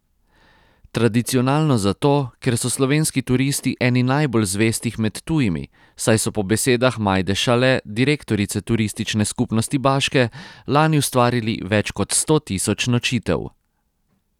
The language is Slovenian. Tradicionalno zato, ker so slovenski turisti eni najbolj zvestih med tujimi, saj so po besedah Majde Šale, direktorice Turistične skupnosti Baške, lani ustvarili več kot sto tisoč nočitev.